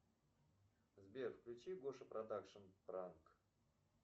сбер включи гоша продакшен пранк